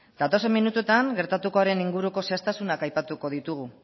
datozen minututan gertatukoaren inguruko zehaztasunak aipatuko ditugu